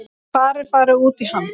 Hvar er farið út í hann?